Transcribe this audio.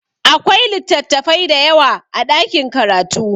Akwai littafai dayawa a ɗakin karatu